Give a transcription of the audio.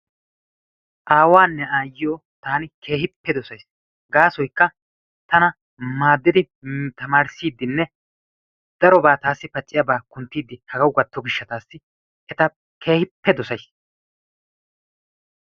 Aawaanne ayyiyyo taani keehippe dosays. Gaasoykka tana maaddiidi tana taamarissidinne darobaa taassi paaciyaabaa kunttidi hagawu gaatto giishshaasi eta keehippe dosays.